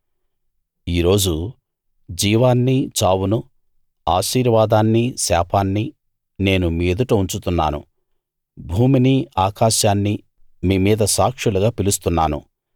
ఈరోజు జీవాన్నీ చావునూ ఆశీర్వాదాన్నీ శాపాన్నీ నేను మీ ఎదుట ఉంచుతున్నాను భూమినీ ఆకాశాన్నీ మీ మీద సాక్షులుగా పిలుస్తున్నాను